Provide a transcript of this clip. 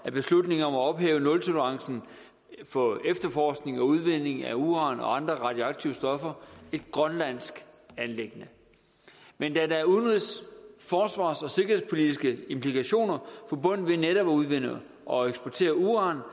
er beslutningen om at ophæve nultolerancen for efterforskning og udvinding af uran og andre radioaktive stoffer et grønlandsk anliggende men da der er udenrigs forsvars og sikkerhedspolitiske implikationer forbundet med netop at udvinde og eksportere uran